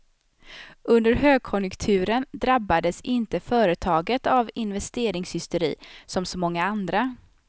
Under högkonjunkturen drabbades inte företaget av investeringshysteri som så många andra.